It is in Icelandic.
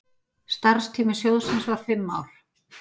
Starfstími sjóðsins var fimm ár.